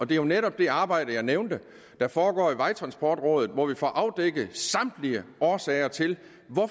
det er jo netop det arbejde jeg nævnte der foregår i vejtransportrådet hvor vi får afdækket samtlige årsager til